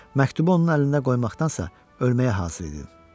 Məktubu onun əlində qoymaqdansa ölməyə hazır idim.